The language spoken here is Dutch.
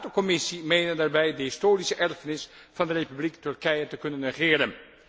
Raad en Commissie menen daarbij de historische erfenis van de Republiek Turkije te kunnen negeren.